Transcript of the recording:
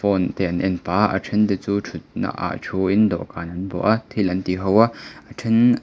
phone te an en pah a a then te chu thut na ah thu in dawhkan an bawh a thil an ti ho a a then--